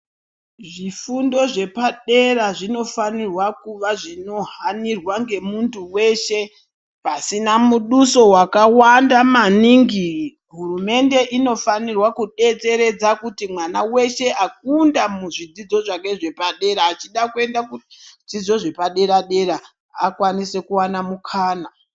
Zvifundo zvepadera zvinofanirwa kuva zvichihanirwa ngemuntu weshe pasina muduso wakawanda maningi, hurumende inofanirwa kudetseredza kuti mwana weshe akunda muzvidzidzo zvake zvepadera achida kuenda kuzvidzidzo zvepadera-dera akwanise kuwana mukana.